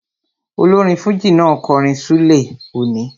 Olórin fújì náà kọrin ṣúlẹ̀ òní